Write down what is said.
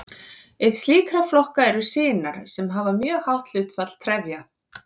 Einn slíkra flokka eru sinar sem hafa mjög hátt hlutfall trefja.